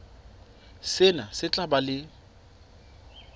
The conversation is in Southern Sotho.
sena se tla ba le